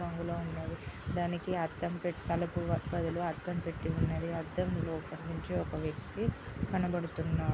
అందులో ఉన్నాయి.దానికి అద్దం పెట్టి తలుపు బదులు అద్దం పెట్టి ఉందని అద్దం లోపల నుంచి ఒక వ్యక్తి కనబడుతున్నాడు.